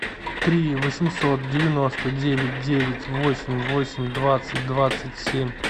три восемьсот девяносто девять девять восемь восемь двадцать двадцать семь